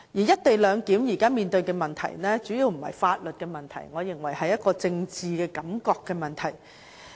"一地兩檢"現時所面對的問題，主要不是法律的問題，我認為是政治感覺的問題。